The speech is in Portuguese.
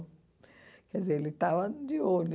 Quer dizer, ele estava de olho.